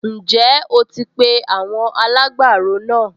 Ǹjẹ́ o ti pe àwọn alágbàro náà?